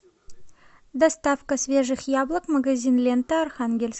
доставка свежих яблок магазин лента архангельск